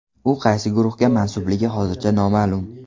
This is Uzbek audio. U qaysi guruhga mansubligi hozircha noma’lum.